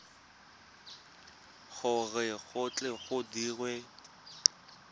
gore go tle go dirwe